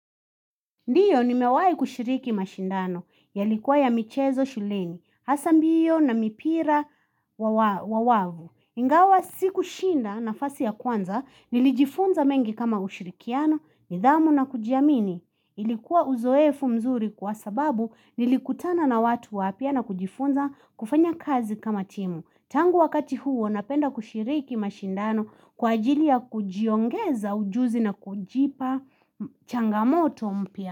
Ndiyo nimewai kushiriki mashindano, yalikuwa ya michezo shuleni, hasa mbio na mipira wa wavu. Ingawa siku shinda nafasi ya kwanza, nilijifunza mengi kama ushirikiano, nidhamu na kujiamini. Ilikuwa uzoefu mzuri kwa sababu nilikutana na watu wapya na kujifunza kufanya kazi kama timu. Tangu wakati huo napenda kushiriki mashindano kwa ajili ya kujiongeza ujuzi na kujipa changamoto mpya.